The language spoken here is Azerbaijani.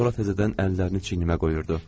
Sonra təzədən əllərini çiynimə qoyurdu.